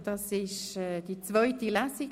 Es ist die zweite Lesung.